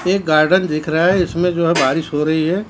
एक गार्डन दिख रहा है इसमें जो है बारिश हो रही है।